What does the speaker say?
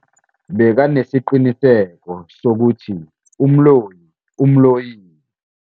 Bekanesiqiniseko sokuthi umloyi umloyile.